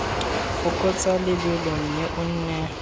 fokotsa lebelo mme o nne